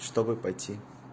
чтобы пойти